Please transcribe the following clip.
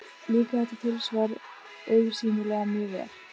Líkaði þetta tilsvar augsýnilega mjög vel.